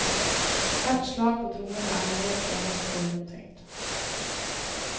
Hvert slag på trommene er nøye planlagt og gjennomtenkt.